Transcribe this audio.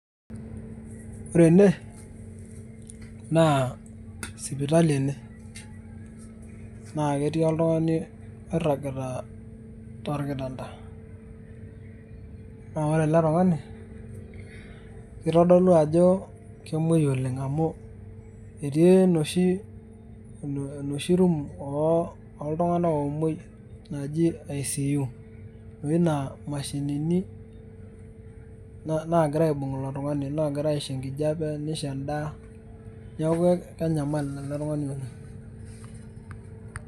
Ore ene, naa sipitali ene. Na ketii oltung'ani oirragita tolkitanda. Na ore ele tung'ani, kitodolu ajo kemoi oleng' amu, etii enoshi wueji oltung'anak omoi naji ICU. Enoshi naa imashinini nagira aibung' ilo tung'ani, nagira aisho enkijape, nisho endaa. Neeku kenyamal ele tung'ani oleng'.